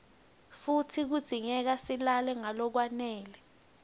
futsi kudzingeka silale ngalokwanele